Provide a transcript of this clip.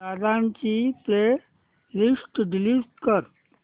दादा ची playlist delete कर